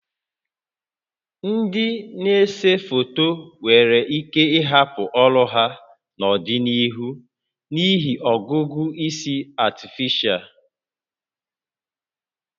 Ndị na-ese foto nwere ike ịhapụ ọrụ ha n'ọdịnihu n'ihi ọgụgụ isi Artificial (AI)